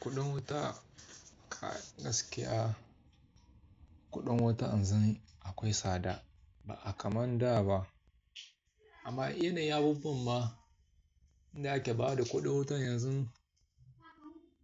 Kuɗin wuta ka gaskiya, kuɗin wuta yanzu akwai tsada ba a kaman da ba. Amma yanayin abubuwa ma inda ake ba da kuɗin wuta yanzu,